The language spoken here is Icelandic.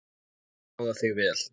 Ég skoða þig vel.